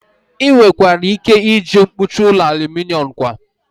Ị nwekwara ike iji mkpuchi ụlọ aluminom kwa